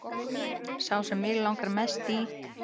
Sá sem mig langar mest í